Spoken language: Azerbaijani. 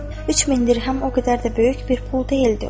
Üç min dirhəm o qədər də böyük bir pul deyildi.